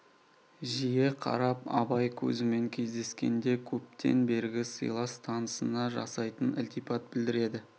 жиі қарап абай көзімен кездескенде көптен бергі сыйлас танысына жасайтын ілтипат білдіреді